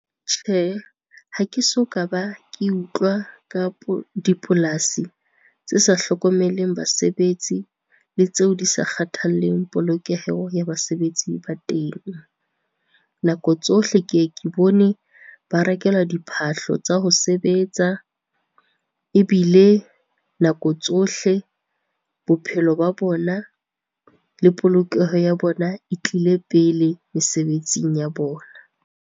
Tjhe, ha ke so ka ba ke utlwa ka bo dipolasi tse sa hlokomeleng basebetsi le tseo di sa kgathalleng polokeho ya basebetsi ba teng. Nako tsohle, ke ke bone ba rekelwa diphahlo tsa ho sebetsa ebile nako tsohle bophelo ba bona le polokeho ya bona e tlile pele mesebetsing ya bona.